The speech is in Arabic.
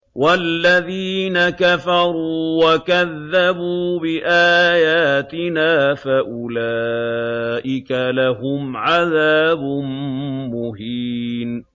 وَالَّذِينَ كَفَرُوا وَكَذَّبُوا بِآيَاتِنَا فَأُولَٰئِكَ لَهُمْ عَذَابٌ مُّهِينٌ